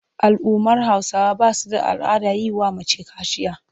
Al'ummar Hausawa ba su da al'adar yi wa mace kaciya.